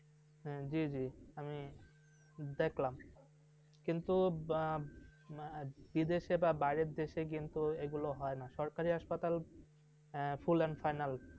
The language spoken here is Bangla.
জি জি আমি দেখলাম কিন্তু, বিদেশে বা বাইরে দেশে কিন্তু, এই কাজগুলো হয় না। সরকারি full and final ।